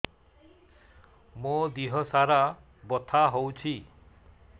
ମୋ ଦିହସାରା ବଥା ହଉଚି